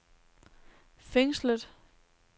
fængslet